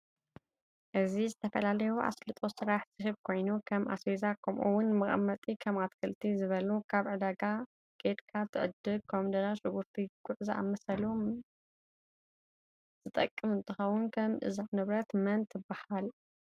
እዚ ንዝተፈላለዩ ኣሰልጦ ስራሕ ዝህብ ኮይኑ ከም ኣዝቨዛ ከምኡ እውን ንመቀመጢ ከም ኣትክልቲ ዝ በ ሉ ካብ ዕዳጋ ከድካ ትዕድግ ኮምደረ፣ ሽንጉርቲ ፣ጉዕ ዝኣመሳስሉ መምፅ ዝጠቅም እንትከውን ሽም እዛ ንብረት መን ትብሃል?